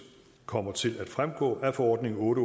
kommer til at fremgå af forordning otte